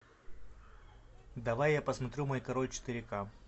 давай я посмотрю мой король четыре ка